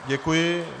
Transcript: Děkuji.